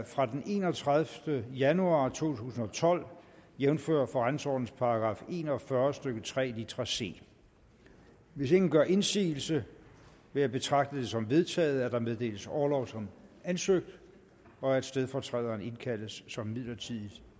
fra den enogtredivete januar to tusind og tolv jævnfør forretningsordenens § en og fyrre stykke tre litra c hvis ingen gør indsigelse vil jeg betragte det som vedtaget at der meddeles orlov som ansøgt og at stedfortræderen indkaldes som midlertidigt